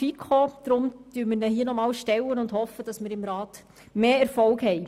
Deshalb stellen wir ihn hier nochmals und hoffen, dass wir im Rat mehr Erfolg haben.